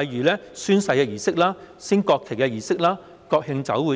例如宣誓儀式、升國旗儀式及國慶酒會等。